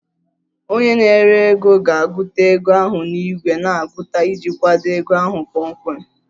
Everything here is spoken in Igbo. Onye na-ere ego ga-agụta ego ahụ na igwe na-agụta iji kwado ego ahụ kpọmkwem